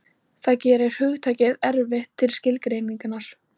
Það gerir hugtakið erfitt til skilgreiningar.